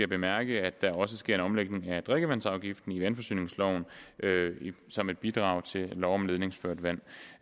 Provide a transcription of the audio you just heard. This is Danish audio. bemærke at der også sker en omlægning af drikkevandsafgiften i vandforsyningsloven som et bidrag til lov om ledningsført vand